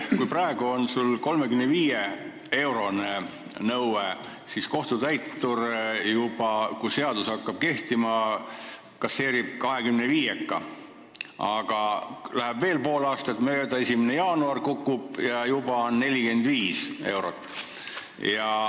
Kui sul on 35-eurone nõue, siis pärast seda, kui seadus hakkab kehtima, kasseerib kohtutäitur sisse kahekümneviieka, aga läheb veel pool aastat, 1. jaanuar kukub, ja juba tuleb koos ettemaksuga tasuda 45 eurot.